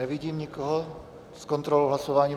Nevidím nikoho s kontrolou hlasování.